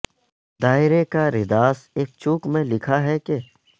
دائرے کا رداس ایک چوک میں لکھا ہے کہ